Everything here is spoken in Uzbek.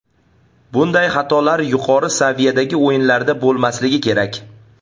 Bunday xatolar yuqori saviyadagi o‘yinlarda bo‘lmasligi kerak.